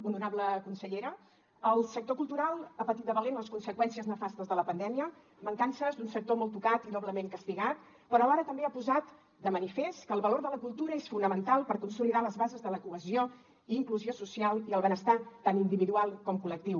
honorable consellera el sector cultural ha patit de valent les conseqüències nefastes de la pandèmia mancances d’un sector molt tocat i doblement castigat però alhora també ha posat de manifest que el valor de la cultura és fonamental per consolidar les bases de la cohesió i inclusió social i el benestar tant individual com col·lectiu